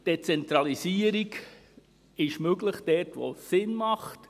Die Dezentralisierung ist dort möglich, wo es Sinn macht.